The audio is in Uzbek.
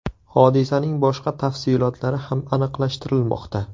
Hodisaning boshqa tafsilotlari ham aniqlashtirilmoqda.